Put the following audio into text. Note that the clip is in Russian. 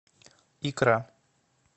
икра